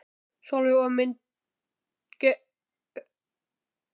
Sólveig: Og myndir gera þetta aftur?